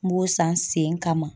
N b'o san sen kama.